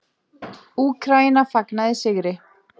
Úkraína fagnaði sigri